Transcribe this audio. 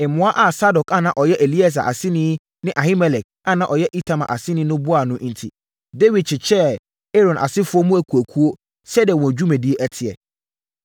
Mmoa a Sadok a na ɔyɛ Eleasa aseni ne Ahimelek a na ɔyɛ Itamar aseni no boaa no enti, Dawid kyekyɛɛ Aaron asefoɔ mu akuakuo sɛdeɛ wɔn dwumadie teɛ.